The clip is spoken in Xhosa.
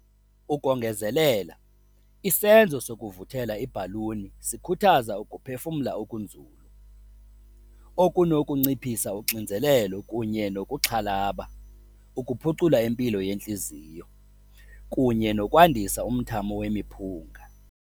Ukongezelela, isenzo sokuvuthela ibhaluni sikhuthaza ukuphefumla okunzulu, okunokunciphisa uxinzelelo kunye nokuxhalaba, ukuphucula impilo yenhliziyo, kunye nokwandisa umthamo wemiphunga.